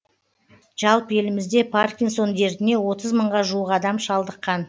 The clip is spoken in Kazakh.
жалпы елімізде паркинсон дертіне отыз мыңға жуық адам шалдыққан